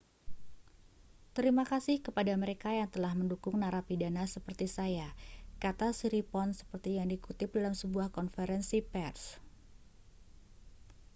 terima kasih kepada mereka yang telah mendukung narapidana seperti saya kata siriporn seperti yang dikutip dalam sebuah konferensi pers